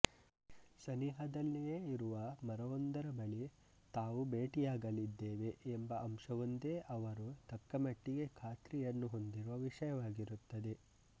ಸನಿಹದಲ್ಲಿಯೇ ಇರುವ ಮರವೊಂದರ ಬಳಿ ತಾವು ಭೇಟಿಯಾಗಲಿದ್ದೇವೆ ಎಂಬ ಅಂಶವೊಂದೇ ಅವರು ತಕ್ಕಮಟ್ಟಿಗೆ ಖಾತ್ರಿಯನ್ನು ಹೊಂದಿರುವ ವಿಷಯವಾಗಿರುತ್ತದೆ